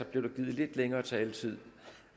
blev der givet lidt længere taletid